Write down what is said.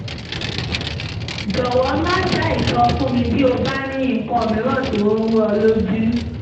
jọ̀wọ́ má ṣàìsọ fún mi bí o bá ní nǹkan mìíràn tó ń rú ọ lójú